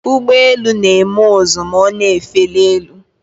Ụgbọ elu na-eme ụzụ ma ọ na-efeli elu.